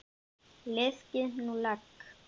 Liðkið nú legg!